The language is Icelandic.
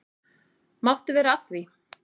Máttu vera að því?